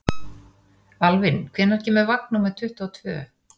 Alvin, hvenær kemur vagn númer tuttugu og tvö?